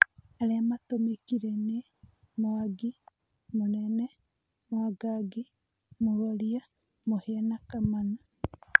Arĩa matũmĩkire nĩ: Mwangi, Mũnene, Mwangangi, Mworia, Mũhia na Kamanũ.